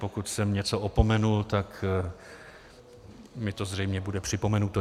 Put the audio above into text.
Pokud jsem něco opomenul, tak mi to zřejmě bude připomenuto.